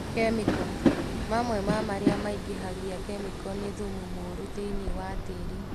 Kĩmĩko. Mamwe ma maria maingĩhagia Kĩmĩko nĩ thumu mũru thĩinĩ wa tĩri